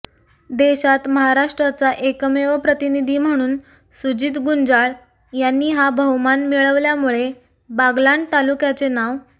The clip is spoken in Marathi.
देशात महाराष्ट्राचा एकमेव प्रतिनिधी म्हणून सुजित गुंजाळ यांनी हा बहुमान मिळविल्यामुळे बागलाण तालुक्याचे नाव